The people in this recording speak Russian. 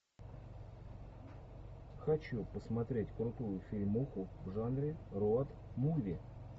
хочу посмотреть крутую фильмуху в жанре роуд муви